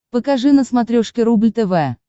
покажи на смотрешке рубль тв